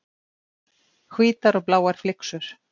Hvítar og bláar flyksur.